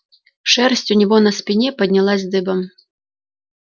шерсть у него на спине поднялась дыбом